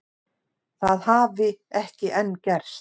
Það hafi ekki enn gerst